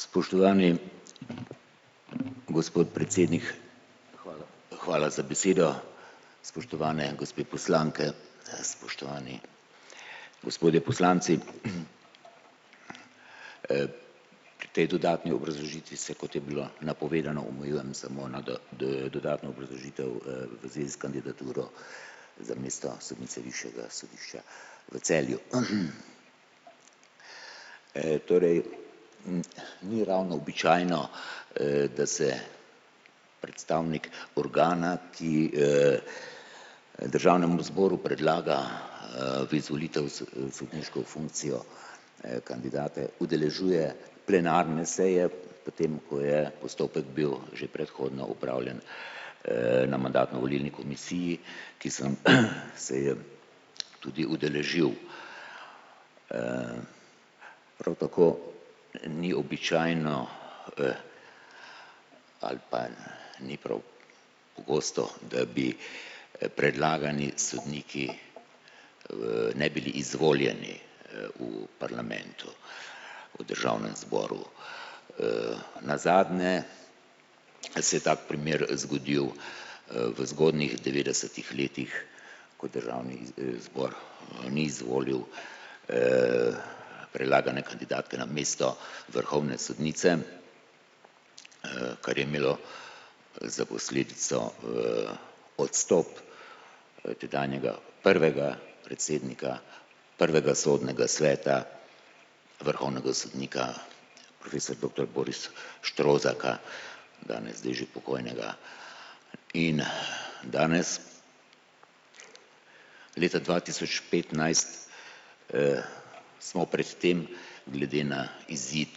Spoštovani gospod predsednik, hvala za besedo, spoštovane gospe poslanke, spoštovani gospodje poslanci! Pri tej dodatni obrazložitvi se je, kot je bilo napovedano, omejujem samo na dodatno obrazložitev, v zvezi s kandidaturo za mesto sodnice višjega sodišča v Celju. Torej ni ravno običajno, da se predstavnik organa, ki, državnemu zboru predlaga, v izvolitev sodniško funkcijo, kandidate udeležuje plenarne seje, potem ko je postopek bil že predhodno opravljen, na mandatno-volilni komisiji, ki sem se je tudi udeležil. Prav tako ni običajno, ali pa ni prav pogosto, da bi predlagani sodniki ne bili izvoljeni, v parlamentu, v državnem zboru. Nazadnje se je tak primer zgodil, v zgodnih devetdesetih letih kot državni zbor, ni izvolil, predlagane kandidatke namesto vrhovne sodnice, kar je imelo za posledico, odstop, tedanjega prvega predsednika prvega sodnega sveta vrhovnega sodnika profesor doktor Boris Štrozarka, danes zdaj že pokojnega, in danes leta dva tisoč petnajst, smo pred tem glede na izid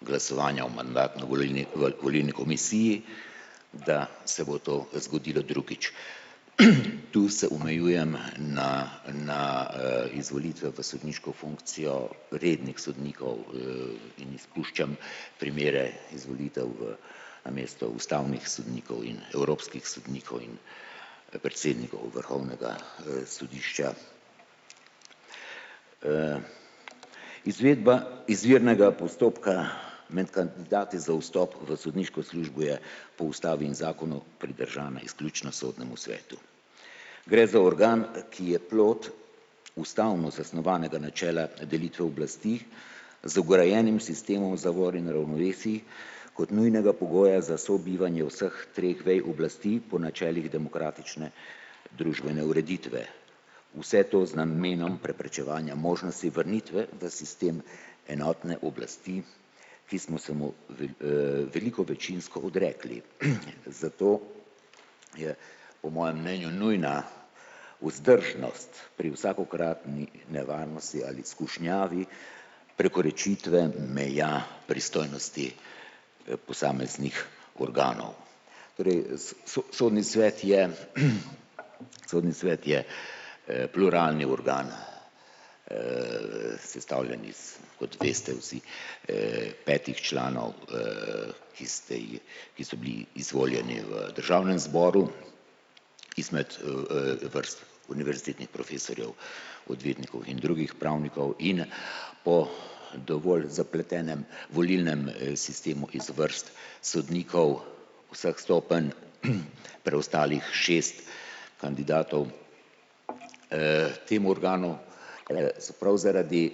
glasovanja o mandatno-volilni volilni komisiji, da se bo to zgodilo drugič. Tu se omejujem na na, izvolitve v sodniško funkcijo rednih sodnikov, in izpuščam primere izvolitev namesto ustavnih sodnikov in evropskih sodnikov in predsednikov vrhovnega, sodišča. Izvedba izvirnega postopka med kandidati za vstop v sodniško službo je po ustavi in zakonu pridržana izključno sodnemu svetu. Gre za organ, ki je plod ustavno zasnovanega načela delitve oblasti z vgrajenim sistemom zavor in ravnovesij kot nujnega pogoja za sobivanje vseh treh vej oblasti po načelih demokratične družbene ureditve. Vse to z namenom preprečevanja možnosti vrnitve v sistem enotne oblasti, ki smo se mu veliko večinsko odrekli, zato je po mojem mnenju nujna vzdržnost pri vsakokratni nevarnosti ali skušnjavi prekoračitve meja pristojnosti, posameznih organov. Torej sodni svet je, sodni svet je, pluralni organ, sestavljen iz, kot veste, vsi, petih članov, ki ste ji, ki so bili izvoljeni v državnem zboru izmed, vrst univerzitetnih profesorjev, odvetnikov in drugih pravnikov in po dovolj zapletenem volilnem, sistemu iz vrst sodnikov vseh stopenj, preostalih šest kandidatov, tem organom, se prav zaradi,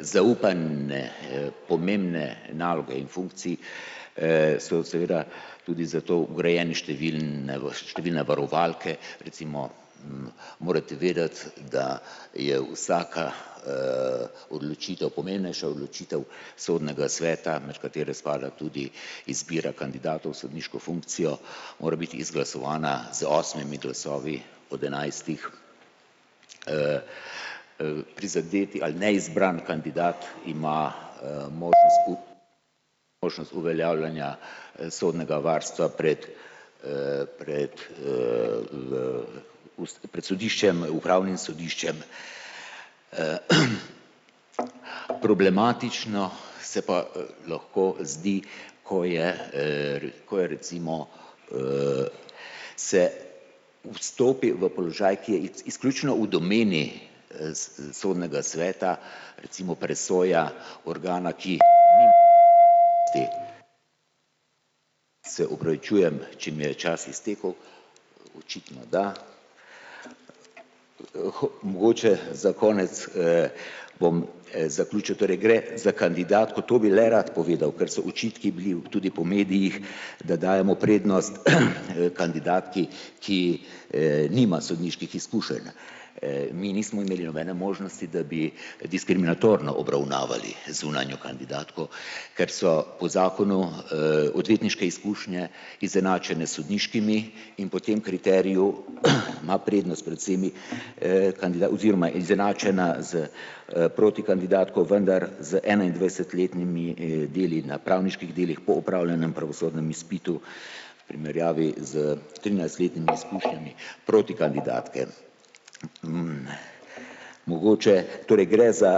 zaupane pomembne naloge in funkcij, so seveda tudi zato urejene številne številne varovalke, recimo morate vedeti, da je vsaka, odločitev, pomembnejša odločitev sodnega sveta, med katere spada tudi izbira kandidatov sodniško funkcijo, mora biti izglasovana z osmimi glasovi od enajstih, prizadeti ali neizbrani kandidat ima, bomo možnost uveljavljanja, sodnega varstva pred, pred, pred sodiščem, upravnim sodiščem. Problematično se pa, lahko zdi, ko je, ko je recimo, se vstopi v položaj, ki je izključno v domeni, sodnega sveta, recimo presoja organa, ki ... Se opravičujem, če mi je čas iztekel, očitno da. Mogoče za konec, bom, zaključil, torej gre za kandidatko, to bi najraje povedal, ker so očitki bili tudi po medijih, da dajemo prednost kandidatki, ki, nima sodniških izkušenj. Mi nismo imeli nobene možnosti, da bi diskriminatorno obravnavali zunanjo kandidatko, ker so po zakonu, odvetniške izkušnje izenačene s sodniškimi, in po tem kriteriju pa prednost pred vsemi, oziroma izenačena s, protikandidatko, vendar z enaindvajsetletnimi, deli na pravniških delih po opravljenem pravosodnem izpitu v primerjavi s trinajstletnimi izkušnjami protikandidatke. Mogoče, torej gre za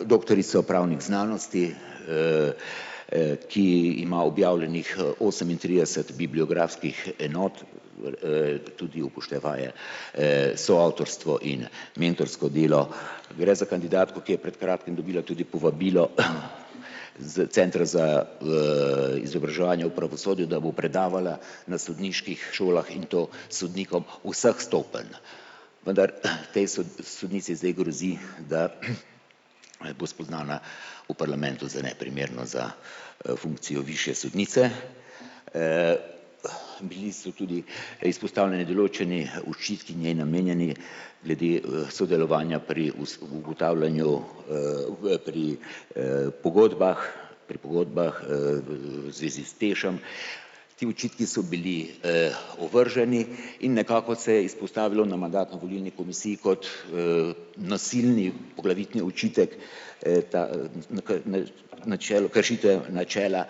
doktorico pravnih znanosti, ki ima objavljenih, osemintrideset bibliografskih enot, tudi upoštevaje, soavtorstvo in mentorsko delo. Gre za kandidatko, ki je pred kratkim dobila tudi povabilo s centra za, izobraževanje v pravosodju, da bo predavala na sodniških šolah in to sodnikom vseh stopenj. Vendar tej sodnici zdaj grozi, da bo spoznana v parlamentu za neprimerno za, funkcijo višje sodnice. Bili so tudi izpostavljeni določeni očitki njej namenjeni glede, sodelovanja pri ob ugotavljanju, pri, pogodbah pri pogodbah, v zvezi s TEŠ-em. Ti očitki so bili, ovrženi in nekako se je izpostavilo na mandatno-volilni komisiji kot, nasilni poglavitni očitek, ta načelu, kršitev načela.